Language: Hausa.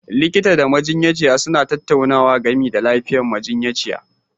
Likita da majiyyaci suna tattaunawa game da lafiyar majiyyaci